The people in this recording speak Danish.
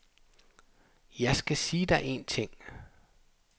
Jeg skal sige dig en ting.